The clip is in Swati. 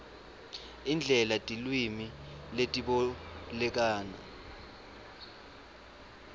indlela tilwimi letibolekana